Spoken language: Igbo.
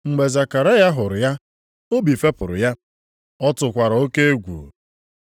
Mgbe Zekaraya hụrụ ya, obi fepụrụ ya, ọ tụkwara oke egwu.